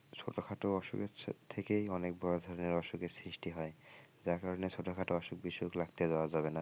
ছোট খাটো অসুখের থেকেই অনেক বড় ধরনের অসুখের সৃষ্টি হয় যার কারণে ছোট খাটো অসুখ বিসুখ লাগতে দেওয়া যাবে না ।